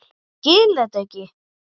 Ég skil þetta ekki!